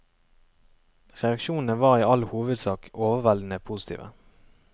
Reaksjonene var i all hovedsak overveldende positive.